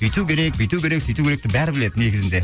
өйту керек бүйту керек сөйту керек деп бәрі біледі негізінде